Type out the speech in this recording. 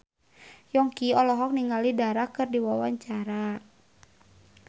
Yongki olohok ningali Dara keur diwawancara